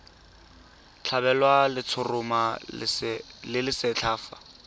tlhabelwa letshoroma le lesetlha fa